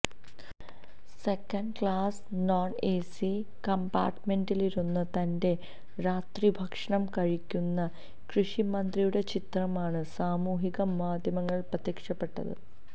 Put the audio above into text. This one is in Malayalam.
സെക്കൻഡ് ക്ലാസ് നോൺഎസി കംമ്പാട്മെന്റിലിരുന്ന് തന്റെ രാത്രിഭക്ഷണം കഴിക്കുന്ന കൃഷ്ി മന്ത്രിയുടെ ചിത്രമാണ് സാമൂഹിക മാധ്യമങ്ങളിൽ പ്രത്യക്ഷപ്പെട്ടത്